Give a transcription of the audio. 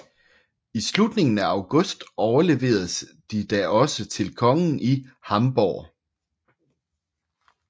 I slutningen af august overleveredes de da også til kongen i Hamborg